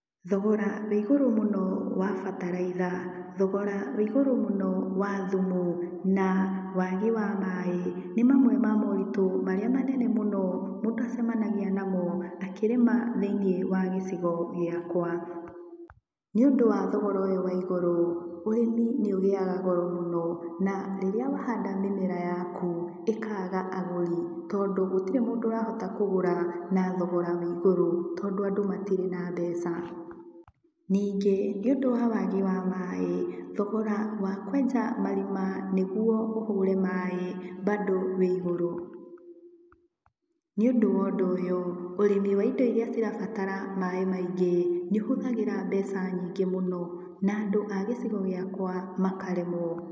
Thogora wĩ igũrũ mũno wa bataraitha, thogora wĩ igũrũ mũno wa thumu, na waagi wa maaĩ, nĩmamwe ma moritũ marĩa manene mũno mũndũ acemanagia namo akĩrĩma thĩinĩ wa gĩcigo gĩakwa. Nĩ ũndũ wa thogora ũyũ wa igũrũ ũrĩmi nĩ ũgĩaga goro mũno na rĩrĩa wahanda nĩmera yaku ĩkaga agũri tondũ gũtĩrĩ mũndũ ũrahota kũgũra na thogora wa igũrũ, tondu andũ matirĩ na mbeca. Ningĩ nĩ ũndũ wa wagi wa maaĩ, thogora wa kwenja marima nĩguo ũhũre maaĩ bado ũrĩ igũrũ. Nĩũndũ wa ũndũ ũyũ ũrĩmi wa indo iria irabatara maaĩ maingĩ nĩũhũthagĩra mbeca nyingĩ mũno na andũ a gĩcigo gĩakwa makaremwo.